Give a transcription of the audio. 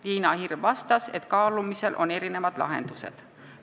Liina Hirv vastas, et kaalumisel on erinevad lahendused.